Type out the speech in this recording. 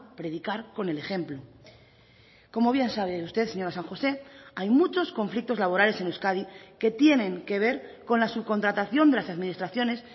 predicar con el ejemplo como bien sabe usted señora san josé hay muchos conflictos laborales en euskadi que tienen que ver con la subcontratación de las administraciones